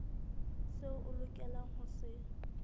seo o lokelang ho se